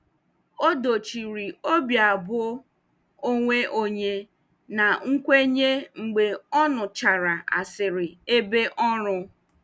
O dochiri obi abụọ onwe onye na nkwenye mgbe ọ nụchara asịrị ebe ọrụ.